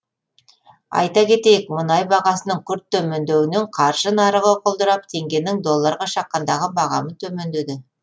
айта кетейік мұнай бағасының күрт төмендеуінен қаржы нарығы құлдырап теңгенің долларға шаққандағы бағамы төмендеді